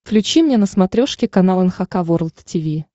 включи мне на смотрешке канал эн эйч кей волд ти ви